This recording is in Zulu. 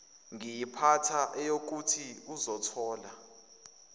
ngayiphatha eyokuthi uzothola